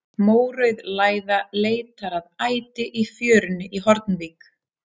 Mórauð læða leitar að æti í fjörunni í Hornvík.